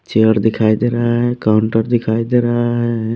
Chair दिखाई दे रहा है काउंटर दिखाई दे रहा है।